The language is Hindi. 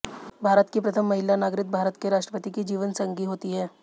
भारत की प्रथम महिला नागरिक भारत के राष्ट्रपति की जीवनसंगी होती है